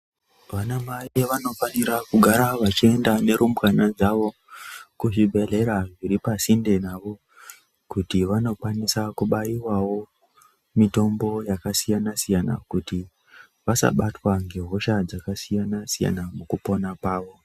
Vana mai vanofanira kugara vachienda nerumbwana dzavo kuzvibhedhlera zviri pasinde navo kuti vanokwanisa kubaiwawo mitombo yakasiyana siyana kuti vasabatwa ngehosha dzakasiyana siyana mukupona kwavo.